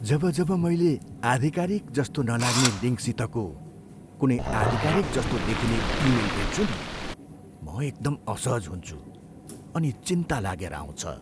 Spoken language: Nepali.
जब जब मैले आधिकारिक जस्तो नलाग्ने लिङ्कसितको कुनै आधिकारिकजस्तो देखिने इमेल भेट्छु नि म एकदम असहज हुन्छु, अनि चिन्ता लागेर आउँछ।